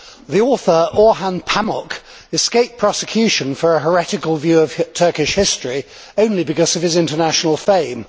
The author, Orhan Pamuk, escaped prosecution for a heretical view of Turkish history only because of his international fame.